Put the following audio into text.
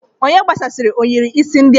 Onye gbasasịrị ohiri isi ndị a?